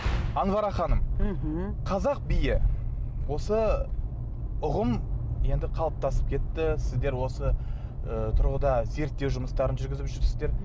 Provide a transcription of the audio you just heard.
анвара ханым мхм қазақ биі осы ұғым енді қалыптасып кетті сіздер осы ы тұрғыда зерттеу жұмыстарын жүргізіп жүрсіздер